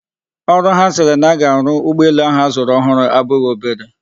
Ọrụ ha sịrị na-aga arụ ụgbọelu ahu azụrụ ọhụrụ abụghị obere.